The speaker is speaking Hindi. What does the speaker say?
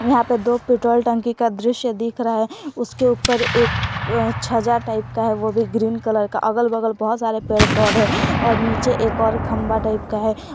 यहां पे दो पेट्रोल टंकी का दृश्य दिख रहा है उसके ऊपर एक छज्जा टाइप का है वो भी ग्रीन कलर का अगल बगल बहुत सारे पेड़ पौधे और नीचे एक और खंबा टाइप का है।